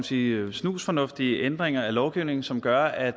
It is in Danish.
sige snusfornuftige ændringer af lovgivningen som gør at